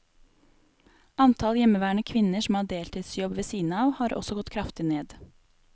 Antall hjemmeværende kvinner som har deltidsjobb ved siden av, har også gått kraftig ned.